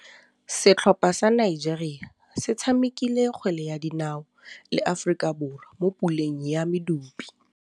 Setlhopha sa Nigeria se tshamekile kgwele ya dinaô le Aforika Borwa mo puleng ya medupe.